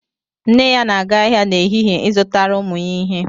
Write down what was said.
Nne ya na-aga ahịa n'ehihie, izụtara ụmụ ya ihe